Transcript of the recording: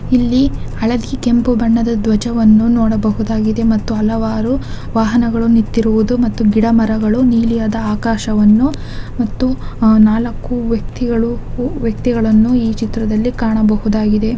ಇಲ್ಲಿ ಹಳದಿ ಕೆಂಪು ಬಣ್ಣದ ಧ್ವಜವನ್ನು ನೋಡಬಹುದಾಗಿದೆ ಮತ್ತು ಹಲವಾರು ವಾಹನಗಳು ನಿತ್ತಿರುವುದು ಮತ್ತು ಗಿಡಮರಗಳು ನೀಲಿಯಾದ ಆಕಾಶವನ್ನು ಮತ್ತು ಆಹ್ ನಾಲಕ್ಕು ವ್ಯಕ್ತಿಗಳು ವ್ಯಕ್ತಿಗಳನ್ನು ಈ ಚಿತ್ರದಲ್ಲಿ ಕಾಣಬಹುದಾಗಿದೆ.